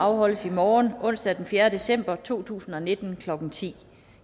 afholdes i morgen onsdag den fjerde december to tusind og nitten klokken ti